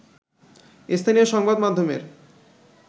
স্থানীয় সংবাদমাধ্যমের